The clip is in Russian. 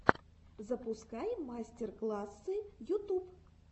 запускай мастер классы ютуб